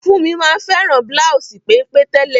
Funmi ma n fẹ́ràn bláùsì pénpé tẹ́lẹ̀.